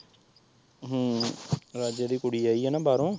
ਹਮ ਰਾਜੇ ਦੀ ਕੁੜੀ ਆਈ ਏ ਨਾ ਬਾਹਰੋਂ।